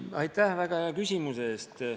Aitäh väga hea küsimuse eest.